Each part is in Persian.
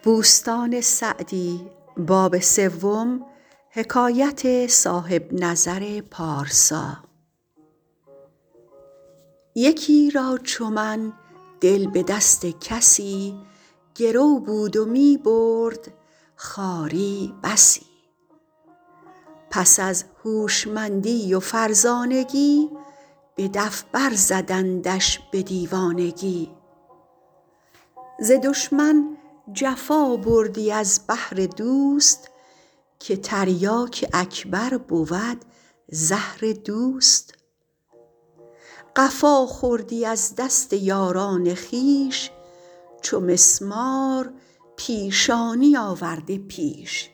یکی را چو من دل به دست کسی گرو بود و می برد خواری بسی پس از هوشمندی و فرزانگی به دف بر زدندش به دیوانگی ز دشمن جفا بردی از بهر دوست که تریاک اکبر بود زهر دوست قفا خوردی از دست یاران خویش چو مسمار پیشانی آورده پیش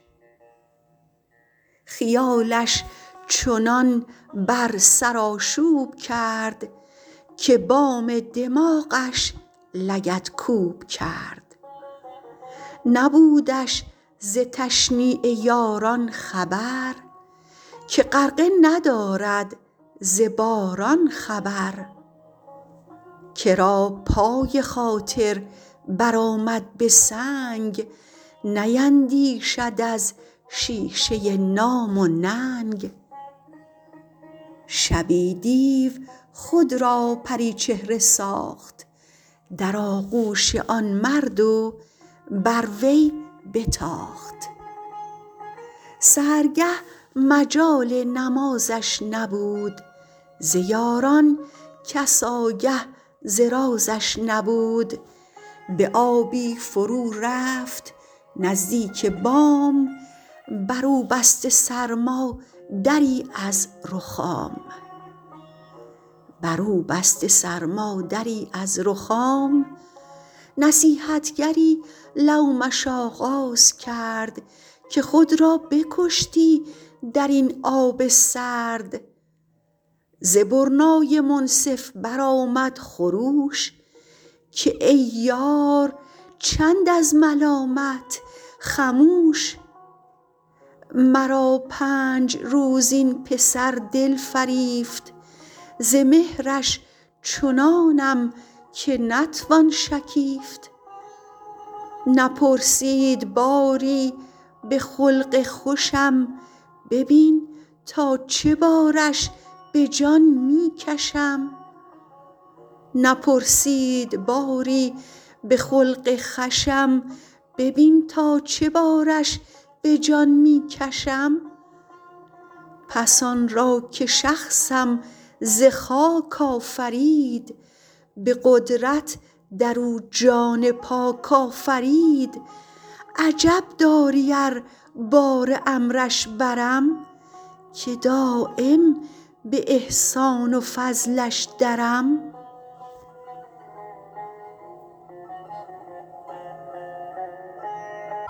خیالش چنان بر سر آشوب کرد که بام دماغش لگدکوب کرد نبودش ز تشنیع یاران خبر که غرقه ندارد ز باران خبر کرا پای خاطر بر آمد به سنگ نیندیشد از شیشه نام و ننگ شبی دیو خود را پریچهره ساخت در آغوش آن مرد و بر وی بتاخت سحرگه مجال نمازش نبود ز یاران کس آگه ز رازش نبود به آبی فرو رفت نزدیک بام بر او بسته سرما دری از رخام نصیحتگری لومش آغاز کرد که خود را بکشتی در این آب سرد ز برنای منصف بر آمد خروش که ای یار چند از ملامت خموش مرا پنج روز این پسر دل فریفت ز مهرش چنانم که نتوان شکیفت نپرسید باری به خلق خوشم ببین تا چه بارش به جان می کشم پس آن را که شخصم ز خاک آفرید به قدرت در او جان پاک آفرید عجب داری ار بار امرش برم که دایم به احسان و فضلش درم